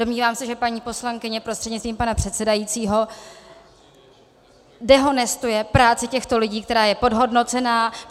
Domnívám se, že paní poslankyně prostřednictvím pana předsedajícího dehonestuje práci těchto lidí, která je podhodnocená.